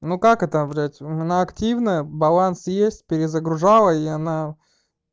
ну как это блядь у меня активная баланс есть перезагружала и она